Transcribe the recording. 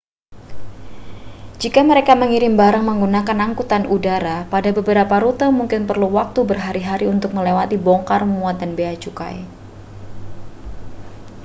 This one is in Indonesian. jika mereka mengirim barang menggunakan angkutan udara pada beberapa rute mungkin perlu waktu berhari-hari untuk melewati bongkar muat dan bea cukai